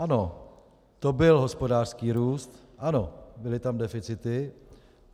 Ano, to byl hospodářský růst, ano, byly tam deficity.